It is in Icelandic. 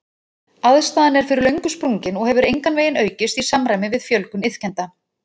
Aðstaðan er fyrir löngu sprungin og hefur engan veginn aukist í samræmi við fjölgun iðkenda.